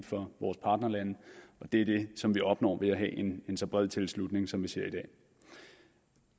for vores partnerlande og det er det som vi opnår ved at have en så bred tilslutning som vi ser i dag